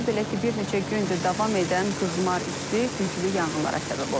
Belə ki, bir neçə gündür davam edən qızmar isti güclü yanğınlara səbəb olub.